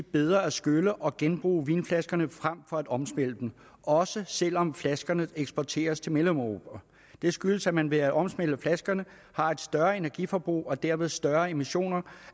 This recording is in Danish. bedre at skylle og genbruge vinflaskerne frem for at omsmelte dem også selv om flaskerne eksporteres til mellemeuropa det skyldes at man ved at omsmelte flaskerne har et større energiforbrug og dermed større emissioner